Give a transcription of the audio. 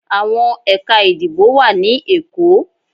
Awọn Ekà ìdíbò wa ni Èko